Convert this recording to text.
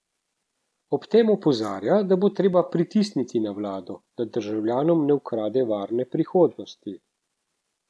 Ob tem opozarja, da bo treba pritisniti na vlado, da državljanom ne ukrade varne prihodnosti.